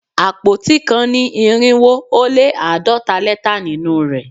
Àpótí kan ní irinwo ó lé àádọ́ta lẹ́tà nínú rẹ̀